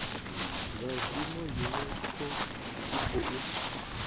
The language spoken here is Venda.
zwa zwino unesco i khou